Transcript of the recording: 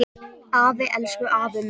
Afi, elsku afi minn.